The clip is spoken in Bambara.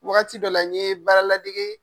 Wagati dɔ la n'i ye baara ladege